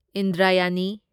ꯏꯟꯗ꯭ꯔꯥꯌꯅꯤ